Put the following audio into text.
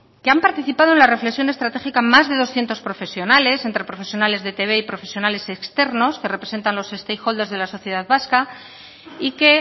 que han participado en las reflexión estratégica más de doscientos profesionales entre profesionales de etb y profesionales externos que representan los stakeholders de la sociedad vasca y que